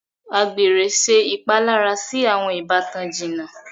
Àgbèrè ṣe ìpalára sì awọn ìbátan jìnnà.